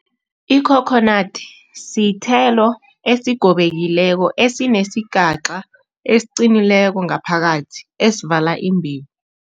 I-coconut sithelo esigobekileko esinesigaca esiqinileko ngapakathi esivala imbewu.